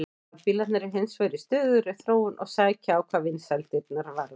Rafbílarnir eru hins vegar í stöðugri þróun og sækja á hvað vinsældirnar varðar.